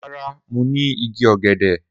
Rara, Mo ni igi ogede.